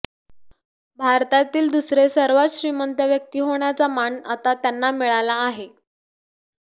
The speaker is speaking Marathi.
भारतातील दुसरे सर्वात श्रीमंत व्यक्ती होण्याचा मान आता त्यांना मिळाला आहे